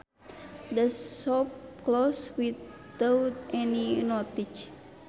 The shop closed without any notice